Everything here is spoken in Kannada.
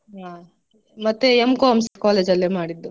ಹಾ ಮತ್ತೆ M.Com ಸ college ಅಲ್ಲೆ ಮಾಡಿದ್ದು.